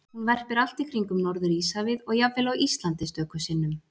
Hún verpir allt í kringum Norður-Íshafið og jafnvel á Íslandi stöku sinnum.